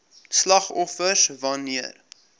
slagoffers wan neer